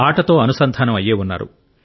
ఆటతో అనుసంధానం అయ్యే ఉన్నారు